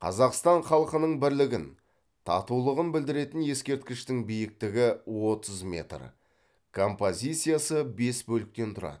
қазақстан халқының бірлігін татулығын білдіретін ескерткіштің биіктігі отыз метр композициясы бес бөліктен тұрады